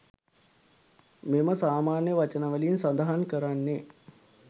මෙම සාමාන්‍ය වචනවලින් සඳහන් කරන්නේ